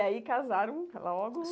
E aí casaram logo?